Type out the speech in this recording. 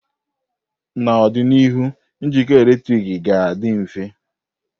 N'ọdịnihu, njikọ eletrik ga-adị mfe.